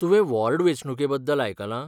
तुवें वॉर्ड वेंचणुके बद्दल आयकलां ?